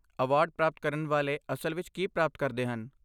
Award ਪ੍ਰਾਪਤ ਕਰਨ ਵਾਲੇ ਅਸਲ ਵਿੱਚ ਕੀ ਪ੍ਰਾਪਤ ਕਰਦੇ ਹਨ?